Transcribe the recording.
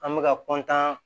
An bɛka